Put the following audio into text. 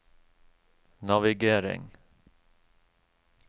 navigering